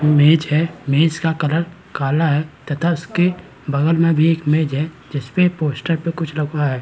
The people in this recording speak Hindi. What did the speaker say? मेज है मेज का कलर काला है तथा उसके बगल में भी एक मेज है जिसपे पोस्टर पे कुछ रखवाया है।